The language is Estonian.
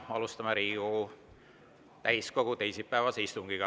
Alustame Riigikogu täiskogu teisipäevast istungit.